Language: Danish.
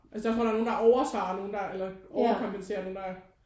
Altså jeg tror der er nogen der over svarer og nogen der eller over kompenserer og nogen der